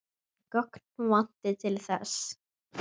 Gögn vanti til þess.